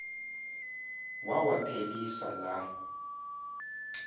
wawa phelisa la